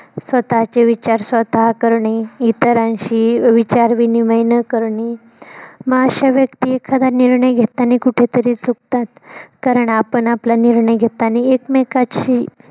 स्वःताचे विचार स्वतः करणे इतरांशी विचार विनिमय न करणे मग अशे व्यक्ती एखादा निर्णय घेतानी कुठंतरी चुकतात कारण आपण आपला निर्णय घेतानी एकमेकाची